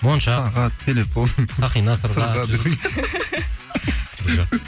мойыншақ сағат телефон сақина сырға десең